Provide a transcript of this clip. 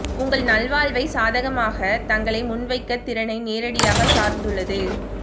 உங்கள் நல்வாழ்வை சாதகமாக தங்களை முன்வைக்க திறனை நேரடியாக சார்ந்துள்ளது